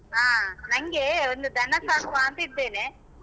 ಹಾ ನಂಗೇ ಒಂದು ದನ ಸಾಕುವಾಂತಿದ್ದೇನೆ.